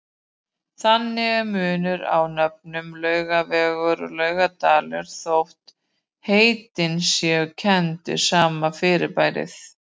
Þannig er munur á nöfnunum Laugavegur og Laugardalur þótt heitin séu kennd við sama fyrirbærið.